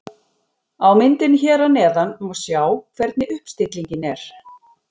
Á myndinni hér að neðan má sjá hvernig uppstillingin er.